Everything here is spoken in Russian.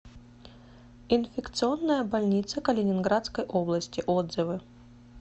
инфекционная больница калининградской области отзывы